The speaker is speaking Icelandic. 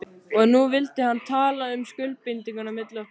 Og nú vildi hann tala um skuldbindingu milli okkar.